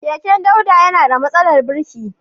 Keken Dauda yana da matsalar birki.